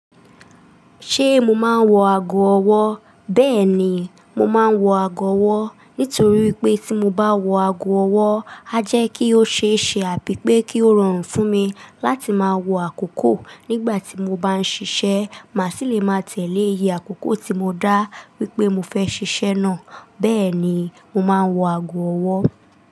Ṣé mo máa ń wọ ago ọwọ́? Bẹ́ẹ̀ ni, mo máa ń wọ ago ọwọ́ nítorí wi pé tí mo bá wọ ago ọwọ́, a jẹ́ kí ó ṣe é ṣe àbí pé kí ó rọrùn fún mi láti máa wo àkókò nígbà tí mo bá ń ṣiṣẹ́, màá sì lè máa tẹ̀lé iye àkókò tí mo dá wípé mo fẹ́ ṣiṣẹ́ náà. Bẹ́ẹ̀ ni, mo máa ń wọ ago ọwọ́.